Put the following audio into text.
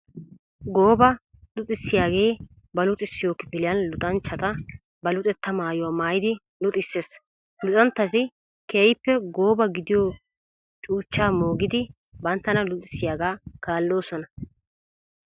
Gooba luxissiyaage ba luxissiyo kifiliyan luxanchchatta ba luxetta maayuwa maayiddi luxissees. Luxanchchatti keehippe gooba gidiyo cuuchcha moogiddi banttana luxissiyaaga kaallosonna.